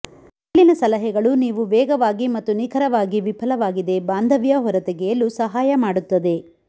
ಮೇಲಿನ ಸಲಹೆಗಳು ನೀವು ವೇಗವಾಗಿ ಮತ್ತು ನಿಖರವಾಗಿ ವಿಫಲವಾಗಿದೆ ಬಾಂಧವ್ಯ ಹೊರತೆಗೆಯಲು ಸಹಾಯ ಮಾಡುತ್ತದೆ